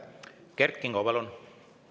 Kert Kingo, palun!